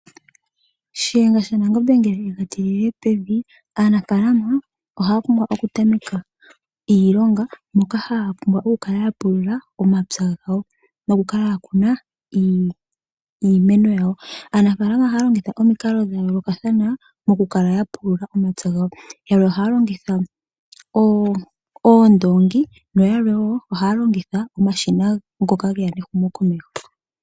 Shiyenga shaNangombe ngele yega tilile pevi, aanafaalama ohaya pumbwa okutameka iilonga moka haya pumbwa oku kala yapulula omapya gawo nokukala yakuna iimeno yawo. Aanafaalama ohaya longitha omikalo dhayoolokathana mokukala yapulula omapya gawo, yalwe ohaya longitha oondoongi nayalwe wo ohaya longitha omashina ngoka geya nehumo komeho.